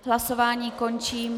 Hlasování končím.